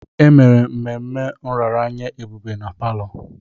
Emere mmemme nraranye Ebube na palọ.